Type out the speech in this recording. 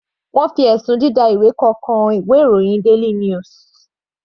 Wọ́n fi ẹ̀sùn dida ìwé kọ kan ìwé ìròyìn daily news.